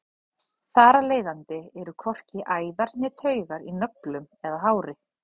þar af leiðandi eru hvorki æðar né taugar í nöglum eða hári